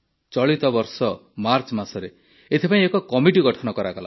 ଚଳିତ ବର୍ଷ ମାର୍ଚ୍ଚମାସରେ ଏଥିପାଇଁ ଏକ କମିଟି ଗଠନ କରାଗଲା